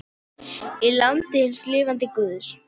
Í landi hins lifanda guðs.